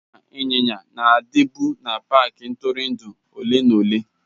Ịnya ịnyịnya na-adịbu na paaki ntụrụndụ ole na ole.